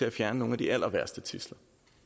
at fjerne nogle af de allerværste tidsler